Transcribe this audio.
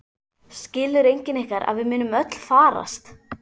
Skilur enginn ykkar að við munum öll farast?